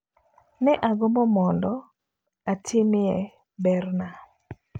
Ne agombo mondo atimie berna.